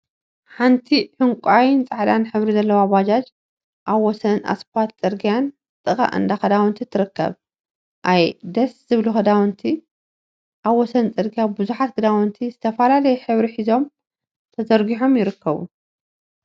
ሓንቲ ዕንቋይን ፃዕዳን ሕብሪ ዘለዋ ባጃጅ አብ ወሰን እስፓልት ፅርግያን ጥቃ እንዳ ክዳውንቲን ትርከብ፡፡ አየ ደስ ዝብሉ ክዳውንቲ! አብ ወሰን ፅርግያ ቡዙሓት ክዳውንቲ ዝተፈላለየ ሕብሪ ሒዞም ተዘርጊሖም ይርከቡ፡፡